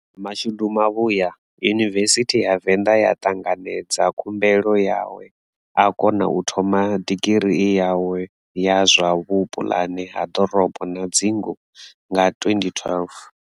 Mashudu mavhuya, Yunivesithi ya Venḓa ya ṱanganedza khumbelo yawe a kona u thoma digirii yawe ya zwa vhupuḽane ha ḓorobo na dzingu nga 2012.